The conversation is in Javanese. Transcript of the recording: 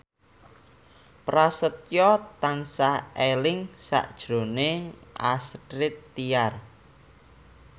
Prasetyo tansah eling sakjroning Astrid Tiar